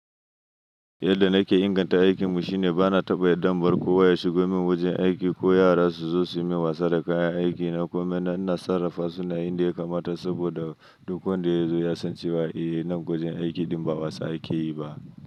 Yadda nake inganta aikinmu shine bana taɓa yadda in bar kowa ya shigo min wajen aiki ko yara su zo su yi min wasa da kayan aikina. Komai na ina sarrafa sune a inda ya kamata, saboda duk wanda ya zo ya san cewa eh, nan wajen aiki ɗin ba wasa ake yi ba.